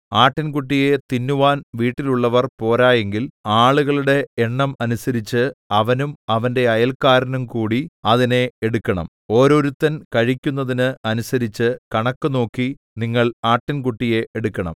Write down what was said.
ആട്ടിൻകുട്ടിയെ തിന്നുവാൻ വീട്ടിലുള്ളവർ പോരായെങ്കിൽ ആളുകളുടെ എണ്ണം അനുസരിച്ച് അവനും അവന്റെ അയൽക്കാരനും കൂടി അതിനെ എടുക്കണം ഓരോരുത്തൻ കഴിക്കുന്നതിന് അനുസരിച്ച് കണക്ക് നോക്കി നിങ്ങൾ ആട്ടിൻകുട്ടിയെ എടുക്കണം